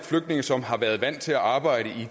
flygtninge som har været vant til at arbejde i